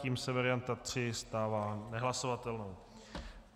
Tím se varianta tři stává nehlasovatelnou.